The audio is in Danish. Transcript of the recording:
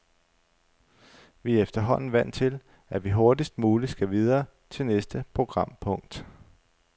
Vi er efterhånden vant til, at vi hurtigst muligt skal videre til næste programpunkt.